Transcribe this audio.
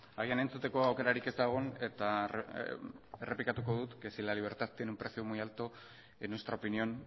agian entzuteko aukerarik ez da egon eta errepikatuko dut si la libertad tiene un precio muy alto en nuestra opinión